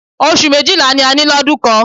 Oṣù méjìlá ni a ní lọdún kan.